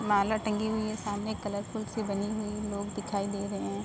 माला टंगी हुई है। सामने कलरफुल सी बनी हुई है। लोग दिखाई दे रहे हैं।